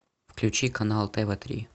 включи канал тв три